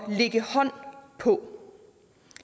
lægge hånd på